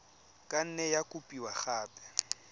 ka nne ya kopiwa gape